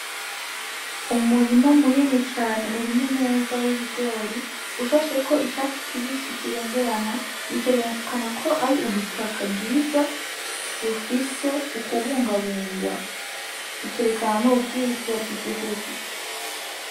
Umurima munini cane urimye neza w' ibigori ushasheko icatsi kibisi kibengerana bikerekana ko ari ubutaka bwiza bufise ukubungabungwa bikerekana n' ubwiza bw' Igihugu.